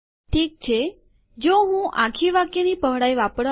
હું શું કરીશ આ તો જો હું આખી વાક્યની પહોળાઈ વાપરવા માંગું તો